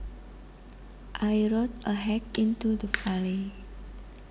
I rode a hack into the valley